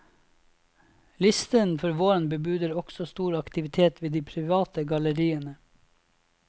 Listen for våren bebuder også stor aktivitet ved de private galleriene.